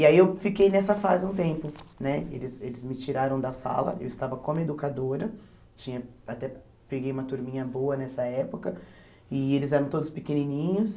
E aí eu fiquei nessa fase um tempo, né eles eles me tiraram da sala, eu estava como educadora, tinha até peguei uma turminha boa nessa época, e eles eram todos pequenininhos,